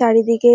চারিদিকে